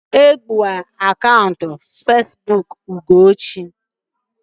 Egburu akaụntụ Facebook Ugochi.